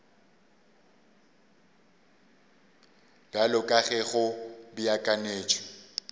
bjalo ka ge go beakantšwe